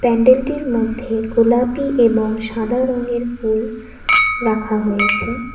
প্যান্ডেলটির মধ্যে গোলাপি এবং সাদা রংয়ের ফুল রাখা হয়েছে।